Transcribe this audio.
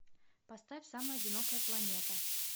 поставь самая одинокая планета